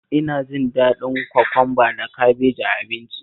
Ina jin daɗin kwakwamba da kabeji a abinci